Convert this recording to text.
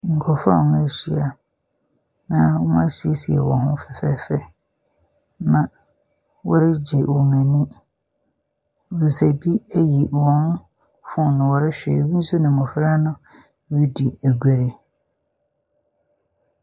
Nkurofoɔ a ɔmo ahyia na ɔmo asiesie wɔn ho fɛfɛɛfɛ. Na wɔre gye wɔn ani. Mbesia bi eyi wɔn fone wɔrehwɛ. Ebi nso ne mmofra no redi agore.